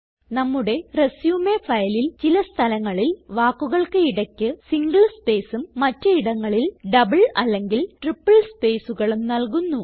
നമ്മുടെ റിസ്യൂം ഫയലിൽ ചില സ്ഥലങ്ങളിൽ വാക്കുകൾക്ക് ഇടയ്ക്ക് സിംഗിൾ സ്പേസും മറ്റ് ഇടങ്ങളിൽ ഡബിൾ അല്ലെങ്കിൽ ട്രിപ്പിൾ സ്പേസ്കളും നല്കുന്നു